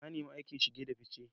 Na nemi aikin shige da fice.